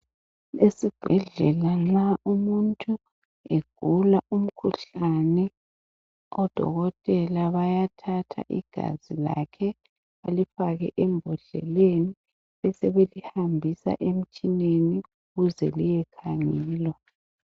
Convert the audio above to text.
Esibhedlela nxa umuntu egula umkhuhlane odokotela bayathatha igazi lakhe balifake embodleleni besebelihambisa emitshineni ukuze liyekhangelwa.